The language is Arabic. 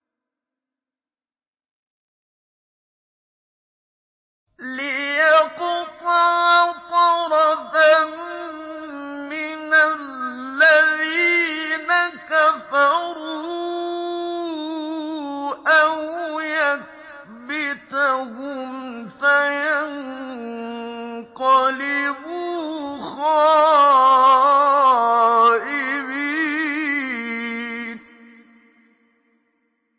لِيَقْطَعَ طَرَفًا مِّنَ الَّذِينَ كَفَرُوا أَوْ يَكْبِتَهُمْ فَيَنقَلِبُوا خَائِبِينَ